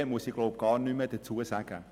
Diesbezüglich muss ich nichts mehr sagen.